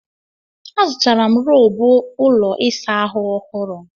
Azụtara m roobụ ụlọ ịsa ahụ ọhụru.